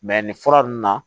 nin fura ninnu na